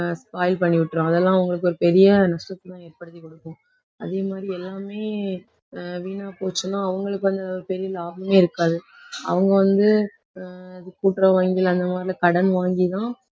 பண்ணி விட்டுரும். அதெல்லாம் அவங்களுக்கு ஒரு பெரிய நஷ்டத்தை தான் ஏற்படுத்தி கொடுக்கும் அதே மாதிரி எல்லாமே, ஆஹ் வீணா போச்சுனா அவங்களுக்கு அதில பெரிய லாபமே இருக்காது. அவங்க வந்து ஆஹ் கூட்டுறவு வங்கிகள் அந்த மாதிரி எல்லாம் கடன் வாங்கிதான்